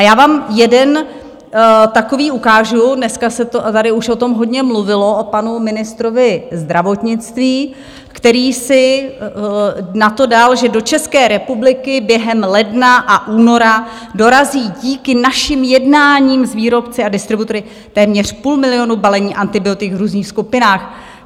A já vám jeden takový ukážu - dneska se tady už o tom hodně mluvilo, o panu ministrovi zdravotnictví, který si na to dal, že do České republiky během ledna a února dorazí díky našim jednáním s výrobci a distributory téměř půl milionu balení antibiotik v různých skupinách.